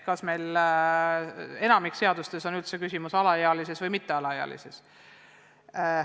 Enamikus seadustes on üldse juttu alaealistest ja mittealaealistest.